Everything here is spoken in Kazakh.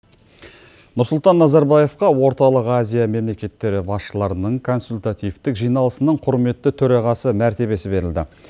нұрсұлтан назарбаевқа орталық азия мемлекеттері басшыларының консультативтік жиналысының құрметті төрағасы мәртебесі берілді